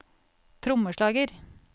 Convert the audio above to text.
trommeslager